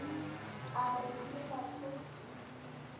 a re se ba se